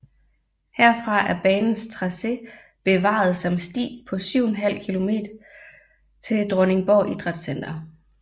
Herfra er banens tracé bevaret som sti på 7½ km til Dronningborg Idrætscenter